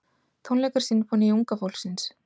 Tónleikar Sinfóníu unga fólksins